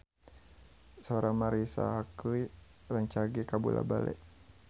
Sora Marisa Haque rancage kabula-bale